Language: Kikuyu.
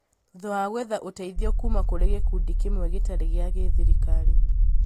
thutha wa gwetha ũteithio kuuma kũrĩ gĩkundi kĩmwe gĩtarĩ gĩa gĩthirikari